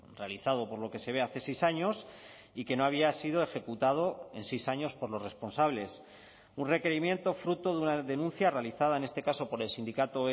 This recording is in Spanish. realizado por lo que se ve hace seis años y que no había sido ejecutado en seis años por los responsables un requerimiento fruto de una denuncia realizada en este caso por el sindicato